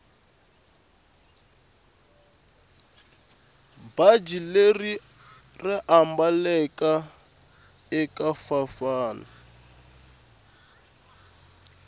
bhatji leriya raambaleka ekavafana